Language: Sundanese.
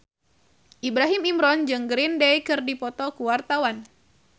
Ibrahim Imran jeung Green Day keur dipoto ku wartawan